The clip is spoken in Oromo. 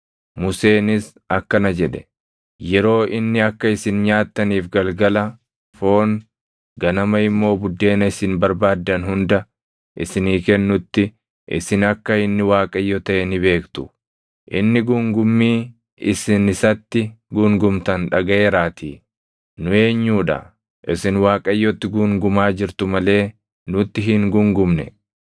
Museenis akkana jedhe; “Yeroo inni akka isin nyaattaniif galgala foon, ganama immoo buddeena isin barbaaddan hunda isinii kennutti isin akka inni Waaqayyo taʼe ni beektu; inni guungummii isin isatti guungumtan dhagaʼeeraatii. Nu eenyuu dha? Isin Waaqayyotti guungumaa jirtu malee nutti hin guungumne.”